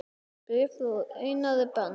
Bréf frá Einari Ben